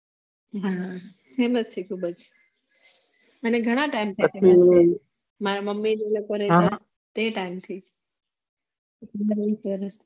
હા famous છે ખુબ જ અને ઘણા ટાઇમ થી છે મારા મમ્મી લોકો ના ટાઇમ થિ